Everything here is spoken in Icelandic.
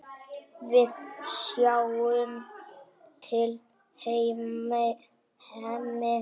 Við sjáum til, Hemmi.